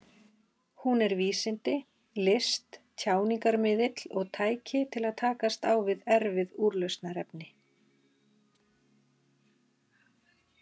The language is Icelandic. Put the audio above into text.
Hún er vísindi, list, tjáningarmiðill og tæki til að takast á við erfið úrlausnarefni.